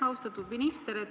Austatud minister!